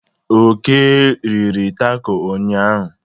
Oke riri tako ụnyanya.